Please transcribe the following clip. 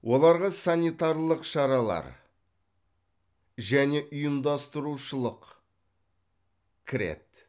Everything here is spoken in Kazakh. оларға санитарлық шаралар және ұйымдастырушылық кіреді